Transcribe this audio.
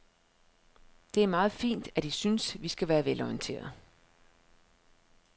Det er meget fint, at I synes, vi skal være velorienterede.